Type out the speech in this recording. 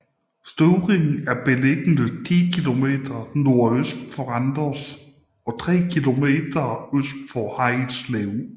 Støvring er beliggende 10 kilometer nordøst for Randers og tre kilometer øst for Harridslev